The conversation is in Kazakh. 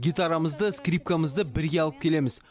гитарамызды скрипкамызды бірге алып келеміз